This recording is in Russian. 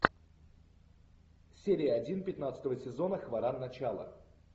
серия один пятнадцатого сезона хваран начало